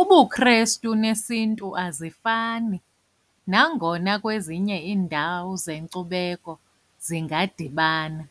UbuKhrestu nesiNtu azifani nangona kwezinye iindawo zenkcubeko zingadibana.